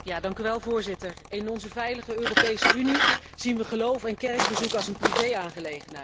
Voorzitter, in onze veilige Europese Unie zien we geloof en kerkbezoek als een privé aangelegenheid.